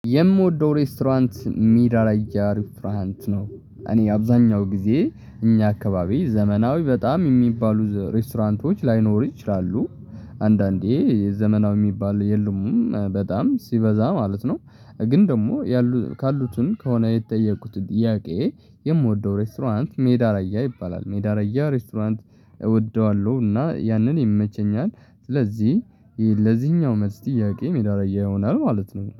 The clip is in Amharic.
የምወደው ሬስቶራንት ሚራ ላይ ያልፋንት ነው እኔ አብዛኛው ጊዜ እኛ አካባቢ ዘመናዊ በጣም የሚባሉ ሬስቶራንቶች ላይኖሩ ይችላሉ አንዳንዴ ዘመናዊ የሚባል የሉም በጣም ሲበዛ ማለት ነው። ግን ደግሞ ያሉ ካሉትን ከሆነ የተጠየቁት ጥያቄ። የምወደው ሬስቶራንት ሜዳ ራያ ይባላል ሜዳ ራያ ሬስቶራንት እወደዋለሁ እና ያንን ይመቸኛል። ስለዚህ ለዚህኛው መልስ ጥያቄ ሜዳ ራያ ይሆናል ማለት ነው